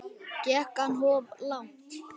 Gekk hann of langt?